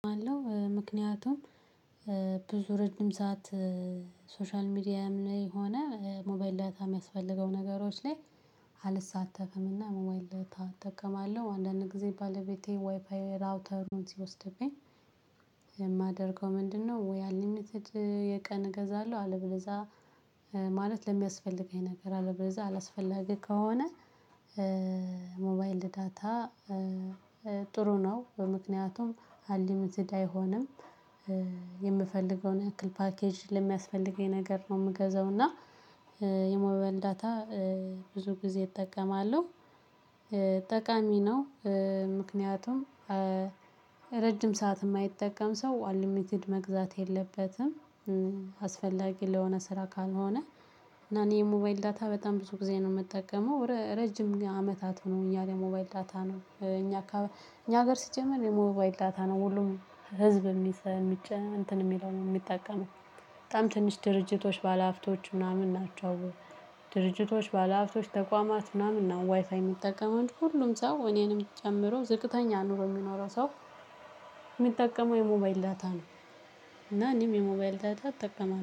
አለው ምክንያቱም ብዙ ረጅም ሰዓት ሶሻል ሚዲያም ላይ ሆነ ሞባይል ዳታ የሚያስፈልገው ነገሮች ላይ አልሳተፍም እና ሞባይል እጠቀማለሁ አንዳንድ ጊዜ ባለቤቴ ዋይፋይ ራውተሩን ሲወስድብኝ። የማደርገው ምንድነው? ወይ አንሊሚትድ የቀን እገዛለሁ። አለበለዛ ማለት ለሚያስፈልገኝ ነገር አለበለዛ አላስፈላጊ ከሆነ። ሞባይል ዳታ ጥሩ ነው በምክንያቱም አሊም ዝዳ አይሆንም። የምፈልገውን ያክል ፓኬጅ ለሚያስፈልገኝ ነገር ነው የምገዛው እና። የሞባይል ዳታ ብዙ ጊዜ እጠቀማለሁ። ጠቃሚ ነው። ምክንያቱም ረጅም ሰዓት የማይጠቀም ሰው አንሊምትድ መግዛት የለበትም። አስፈላጊ ለሆነ ስራ ካልሆነ። እና እኔ የሞባይል ዳታ በጣም ብዙ ጊዜ ነው የምጠቀመው ረጅም አመታት ሆኖኛል። የሞባይል ዳታ ነው እኛ እኛ ሀገር ሲጀመር የሞባይል ዳታ ነው ሁሉም ህዝብ የሚጨ እንትን የሚለው ነው የሚጠቀመው። በጣም ትንሽ ድርጅቶች ባለሃብቶች ምናምን ናቸው። ድርጅቶች ባለሀብቶች ተቋማት ምናምን ነው ዋይፋይ የሚጠቀመው ሁሉም ሰው እኔንም ጨምሮ ዝቅተኛ ኑሮ የሚኖረው ሰው። የሚጠቀመው የሞባይል ዳታ ነው። እና እኔም የሞባይል ዳታ አጠቀማለው